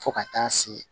Fo ka taa se